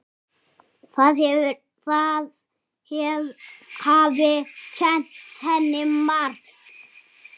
Þau hafi kennt henni margt.